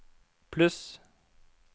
pluss